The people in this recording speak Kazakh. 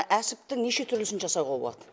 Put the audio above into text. әсіптің неше түрлісін жасауға болады